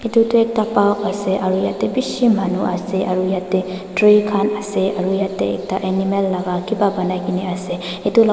etu tu ekta park ase yete bishi manu ase aru yate tree khan ase aru yate ekta animal kibha banai kena ase.